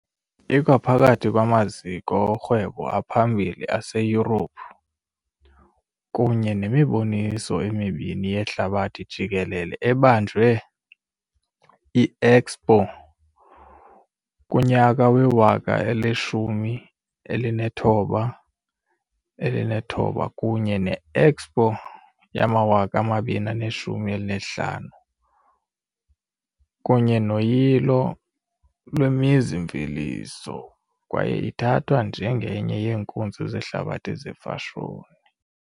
Ikwaphakathi kwamaziko orhwebo aphambili aseYurophu, kunye nemiboniso emibini yehlabathi jikelele ebanjwe- I-Expo 1906 kunye ne-Expo 2015, kunye noyilo lwemizi-mveliso, kwaye ithathwa njengenye yeenkunzi zehlabathi zefashoni.